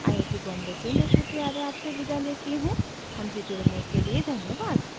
iit iit T Bombay से मैं श्रुति आर्य आपसे विदा लेती हूँ हमसे जुड़ने के लिए धन्यवाद